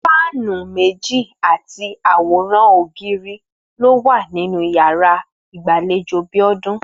Fáànì méjì àti àwòrán ògiri ló wà nínú yàra ìgbàlejò Bíó̩dún